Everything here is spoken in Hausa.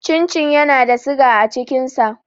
Cin cin yana da siga a cikin sa.